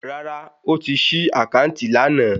Rárá, ó ti ṣí àkáǹtì lánàá